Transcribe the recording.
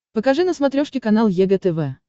покажи на смотрешке канал егэ тв